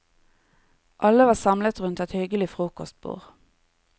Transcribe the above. Alle var samlet rundt et hyggelig frokostbord.